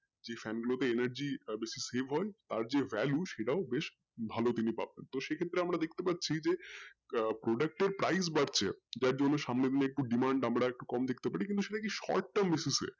যেই fan গুলো তে energy বেশি হয় তার যে value সেটাও বেশি হয় ভালো তিনি পাবেন তো সেই ক্ষেত্রে আমরা দেখতে পাচ্ছি যে আহ product এর price বাড়ছে যার জন্য সম্ভবত demand বাড়ছে দেখতে পারি কিন্তু সেটাকে short term associate এ